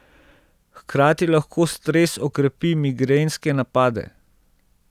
Hkrati lahko stres okrepi migrenske napade.